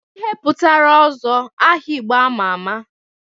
Kedu ihe pụtara Ozo, aha Igbo ama ama?